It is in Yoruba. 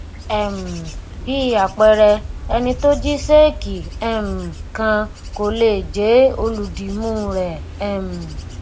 um bí àpẹẹrẹ ẹni tó jí ṣéèkì um kan kò lè jé olùdìmúu rẹ um